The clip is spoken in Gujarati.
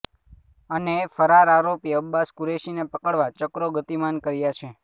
અને ફરાર આરોપી અબ્બાસ કુરેશીને પકડવાં ચક્રો ગતિમાન કર્યા છે